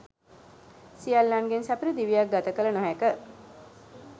සියල්ලන්ගෙන් සපිරි දිවියක් ගත කළ නොහැක.